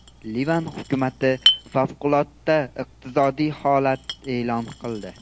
Livan hukumati favqulodda iqtisodiy holat e’lon qildi.